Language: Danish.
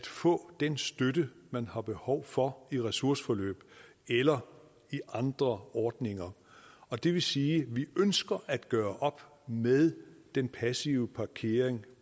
få den støtte man har behov for i ressourceforløb eller i andre ordninger og det vil sige at vi ønsker at gøre op med den passive parkering